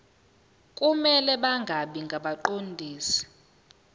kumele bangabi ngabaqondisi